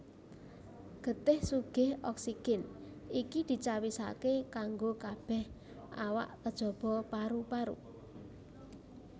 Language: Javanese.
Getih sugih oksigen iki dicawisaké kanggo kabèh awak kejaba paru paru